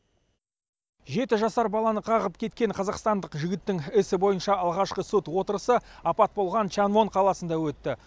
жеті жасар баланы қағып кеткен қазақстандық жігіттің ісі бойынша алғашқы сот отырысы апат болған чангвон қаласында өтті